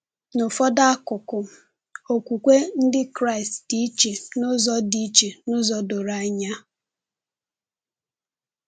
N’ụfọdụ akụkụ, Okwukwe Ndị Kraịst dị iche n’ụzọ dị iche n’ụzọ doro anya.